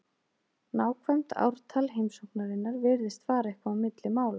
Nákvæmt ártal heimsóknarinnar virðist fara eitthvað milli mála.